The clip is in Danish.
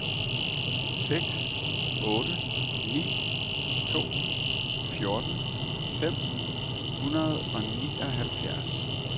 seks otte ni to fjorten fem hundrede og nioghalvfjerds